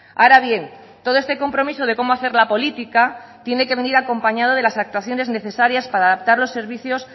ahora bien todo este compromiso de cómo hacer la política tiene que venir acompañado de las actuaciones necesarias para adaptar los servicios